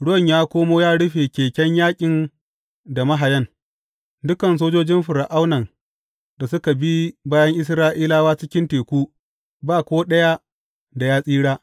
Ruwan ya komo ya rufe keken yaƙin da mahayan, dukan sojojin Fir’aunan da suka bi bayan Isra’ilawa cikin teku, ba ko ɗaya da ya tsira.